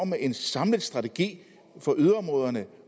med en samlet strategi for yderområderne